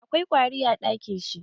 Akwai ƙwari a ɗakin shi.